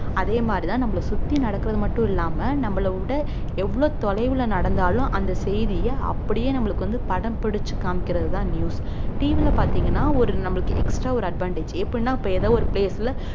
அதே மாதிரிதான் நம்மளை சுத்தி நடக்கிறது மட்டும் இல்லாம நம்மளை விட எவ்வளவு தொலைவுல நடந்தாலும் அந்த செய்திய அப்படியே நம்மளுக்கு வந்து படம் பிடிச்சு காமிக்கிறதுதான் newsTV ல பாத்தீங்கன்னா ஒரு நம்மளுக்கு extra ஒரு advantage எப்படின்னா இப்ப ஏதோ ஒரு place ல